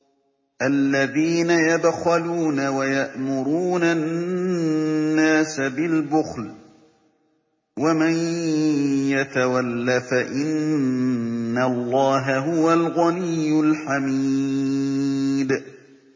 الَّذِينَ يَبْخَلُونَ وَيَأْمُرُونَ النَّاسَ بِالْبُخْلِ ۗ وَمَن يَتَوَلَّ فَإِنَّ اللَّهَ هُوَ الْغَنِيُّ الْحَمِيدُ